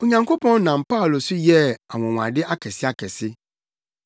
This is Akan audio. Onyankopɔn nam Paulo so yɛɛ anwonwade akɛseakɛse,